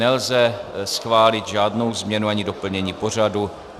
Nelze schválit žádnou změnu ani doplnění pořadu.